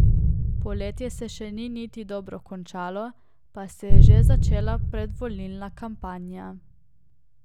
Poletje se še ni niti dobro končalo, pa se je že začela predvolilna kampanja.